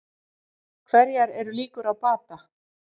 Hverjar eru líkur á bata?